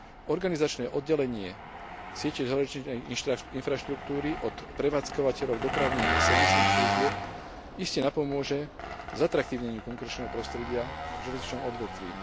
Organizačné oddelenie siete železničnej infraštruktúry od prevádzkovateľov dopravných a servisných služieb iste napomôže zatraktívneniu konkurenčného prostredia v železničnom odvetví.